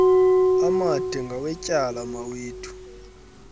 amade ngawetyala mawethu